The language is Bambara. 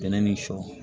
Bɛnɛ ni sɔ